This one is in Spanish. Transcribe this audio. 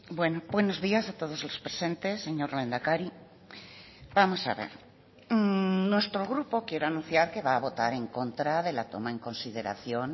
bueno buenos días a todos los presentes señor lehendakari vamos a ver nuestro grupo quiero anunciar que va a votar en contra de la toma en consideración